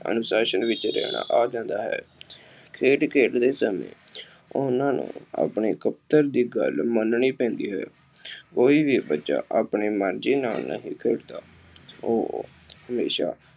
ਅਨੁਸਾਸ਼ਨ ਵਿੱਚ ਰਹਿਣਾ ਆ ਜਾਂਦਾ ਹੈ। ਖੇਡ ਖੇਡਦੇ ਸਮੇਂ ਉਹਨਾ ਨੂੰ ਆਪਣੀ ਕੈਪਟਨ ਦੀ ਗੱਲ ਮੰਨਣੀ ਪੈਂਦੀ ਹੈ। ਕੋਈ ਵੀ ਬੱਚਾ ਆਪਣੇ ਮਰਜ਼ੀ ਨਾਲ ਨਹੀਂ ਖੇਡਦਾ, ਉਹ ਹਮੇਸ਼ਾ